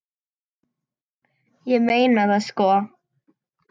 Ég meina það sko.